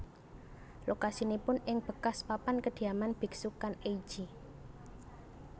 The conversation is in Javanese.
Lokasinipun ing bekas papan kediaman biksu Kan ei ji